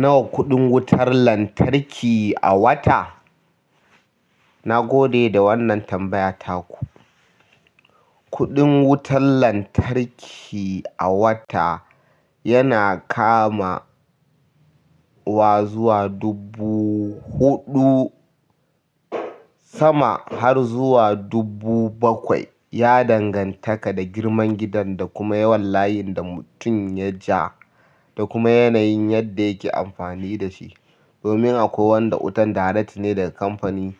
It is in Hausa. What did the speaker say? Nawa kuɗin wutar lantarki a wata? Na gode da wannan tambaya taku. Kuɗin wutar lantarki a wata yana kama wa zuwa dubu huɗu sama har zuwa dubu bakwai. Ya dangantaka da girman gidan da kuma yawan layin da mutum ya ja da kuma yanayin yadda yake amfani da shi. Domin akwai wanda wutan direct ne daga kamfani,